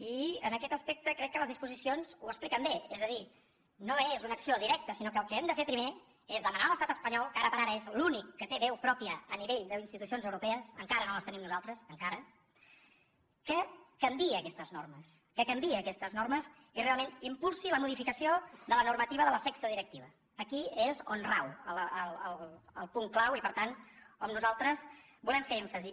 i en aquest aspecte crec que les disposicions ho expliquen bé és a dir no és una acció directa sinó que el que hem de fer primer és demanar a l’estat espanyol que ara per ara és l’únic que té veu pròpia a nivell d’institucions europees encara no les tenim nosaltres encara que canviï aquestes normes que canviï aquestes normes i realment impulsi la modificació de la normativa de la sexta directiva aquí és on rau el punt clau i per tant on nosaltres hi volem fer èmfasi